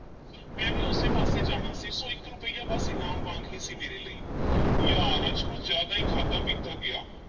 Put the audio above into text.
ਮੈਂ ਵੀ ਉਸੇ ਪਾਸੇ ਜਾਣਾ ਸੀ ਸੋ ਇੱਕ ਰੁਪਇਆ ਬੱਸ ਇਨਾਮ ਵਾਂਗ ਹੀ ਸੀ ਮੇਰੇ ਲਈ ਯਾਰ ਅੱਜ ਕੁਝ ਜ਼ਿਆਦਾ ਈ ਖਾਧਾ-ਪੀਤਾ ਗਿਆ।